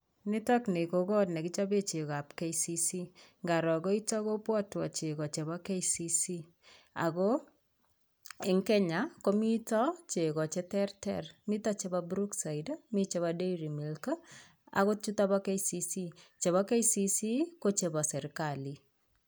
Nitok ni ko kot ab KCC nekichapee chego ab KCC ngaro koitok kopwatwan chego ab KCC, ako eng' Kenya komii chego cheterter: mito chepo Brookside, mi chepo Dairy milk akot chutok po KCC, chepo KCC ko chepo serikali.